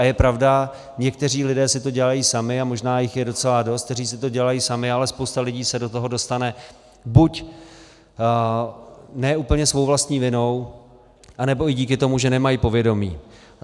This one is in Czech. A je pravda, někteří lidé si to dělají sami, a možná jich je docela dost, kteří si to dělají sami, ale spousta lidí se do toho dostane buď ne úplně svou vlastní vinou, anebo i díky tomu, že nemají povědomí.